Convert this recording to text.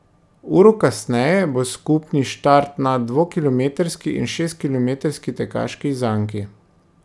Uro kasneje bo skupni štart na dvokilometrski in šestkilometrski tekaški zanki.